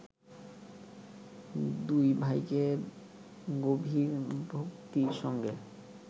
দুই ভাইকে গভীর ভক্তির সঙ্গে